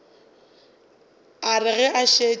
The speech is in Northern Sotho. a re ge a šetše